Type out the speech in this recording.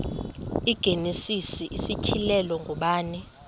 igenesis isityhilelo ngubani